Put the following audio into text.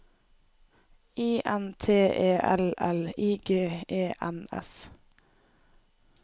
I N T E L L I G E N S